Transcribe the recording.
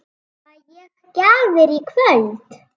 Fæ ég gjafir í kvöld?